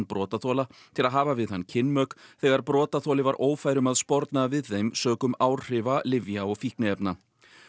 brotaþola til að hafa við hann kynmök þegar brotaþoli var ófær um að sporna við þeim sökum áhrifa lyfja og fíkniefna